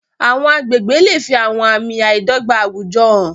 Àwọn agbègbè lè fi àwọn àmì àìdọ́gba àwùjọ hàn.